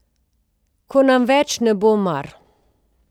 Ko nam več ne bo mar.